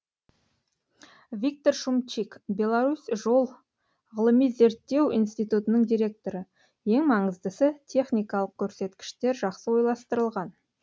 виктор шумчик беларусь жол ғылыми зерттеу институтының директоры ең маңыздысы техникалық көрсеткіштер жақсы ойластырылған